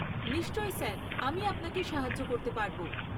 নিশ্চয় স্যার, আমি আপনাকে সাহায্য করতে পারব।